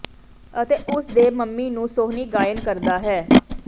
ਅਤੇ ਉਸ ਦੇ ਮੰਮੀ ਨੂੰ ਸੋਹਣੀ ਗਾਇਨ ਕਰਦਾ ਹੈ